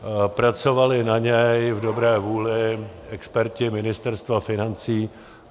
Pracovali na něm v dobré vůli experti Ministerstva financí.